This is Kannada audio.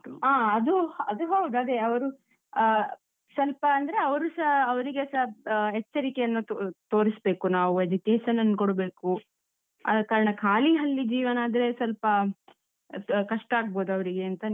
ಆ, ಅದು ಅದು ಹೌದು, ಅದೇ ಅವರು ಆಹ್ ಸ್ವಲ್ಪ ಅಂದ್ರೆ ಅವ್ರು ಸ ಅವ್ರಿಗೆ ಸ ಆಹ್ ಎಚ್ಚರಿಕೆಯನ್ನು ತೋರಿಸ್ಬೇಕು ನಾವು education ಅನ್ನು ಕೊಡ್ಬೇಕು, ಆದ ಕಾರಣ ಖಾಲಿ ಹಳ್ಳಿ ಜೀವನ ಆದ್ರೆ ಸ್ವಲ್ಪ ಕಷ್ಟ ಆಗ್ಬೋದು ಅವ್ರಿಗೇಂತ